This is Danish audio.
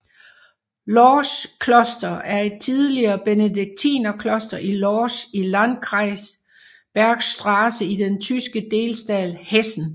Lorsch kloster er et tidligere benediktinerkloster i Lorsch i landkreis Bergstrasse i den tyske delstat Hessen